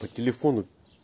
по телефону